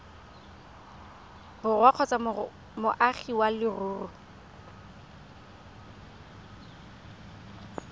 borwa kgotsa moagi wa leruri